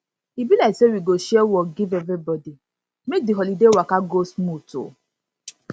e be like say we go share work give everybody make di holiday waka go smooth oo